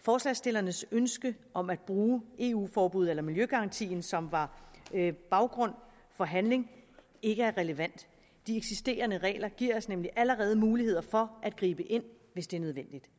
forslagsstillernes ønske om at bruge eu forbuddet eller miljøgarantien som var baggrund for handling ikke er relevant de eksisterende regler giver os nemlig allerede muligheder for at gribe ind hvis det er nødvendigt